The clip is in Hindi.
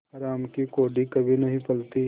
हराम की कौड़ी कभी नहीं फलती